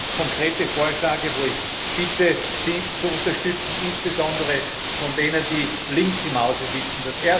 Daher zwei ganz konkrete Vorschläge, wo ich bitte, sie zu unterstützen insbesondere diejenigen, die links im Hause sitzen.